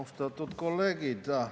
Austatud kolleegid!